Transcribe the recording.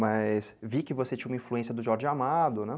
Mas vi que você tinha uma influência do Jorge Amado, né?